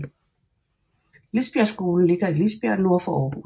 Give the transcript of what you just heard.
Lisbjergskolen ligger i Lisbjerg nord for Aarhus